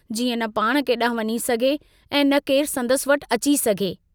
जीअं न पाण केडांहुं वंञी सघे ऐं न केरु संदसि वटि अची सघे।